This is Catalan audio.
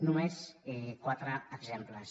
només quatre exemples